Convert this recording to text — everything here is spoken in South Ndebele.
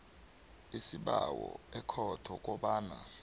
isibawo ekhotho kobana